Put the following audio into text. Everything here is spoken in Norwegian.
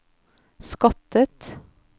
skattet